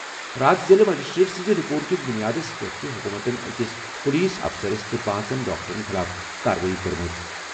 راتھ ضِلعہٕ مجسٹریٹ سٕنٛزِ رِپورٹ کِس بُنیادس پیٚٹھ چھےٚ حُکوٗمتَن أکِس پُلیٖس اَفسَرس تہٕ پانٛژن ڈاکٹرن خٕلاف کاروٲیی کٔرمٕژ۔